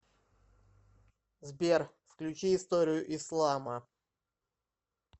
сбер включи историю ислама